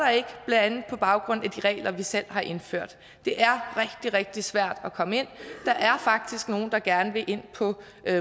der vi selv har indført det er rigtig rigtig svært at komme ind der er faktisk nogle der gerne vil ind på